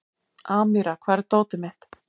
Amíra, hvar er dótið mitt?